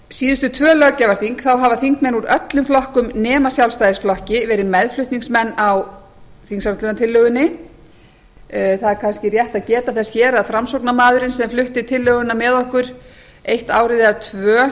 síðustu tvö löggjafarþing hafa þingmenn úr öllum flokkum nema sjálfstæðisflokki verið meðflutningsmenn á þingsályktunartillögunni það er kannski rétt að geta þess hér að framsóknarmaðurinn sem flutti tillöguna með okkur eitt ár eða tvö